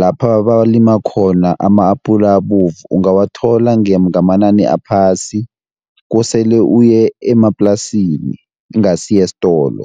lapha balima khona ama-apula abovu, ungawathola ngamanani aphasi, kosele uye emaplasini ingasi esitolo.